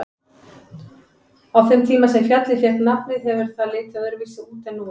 Á þeim tíma sem fjallið fékk nafnið hefur það litið öðruvísi út en nú er.